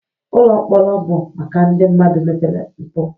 Ụlọ mkpọrọ bụ maka ndị mmadụ mere mpụ